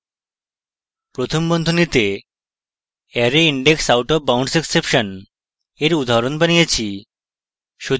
প্রথম বন্ধনীতে arrayindexoutofboundsexception এর উদাহরণ বানিয়েছি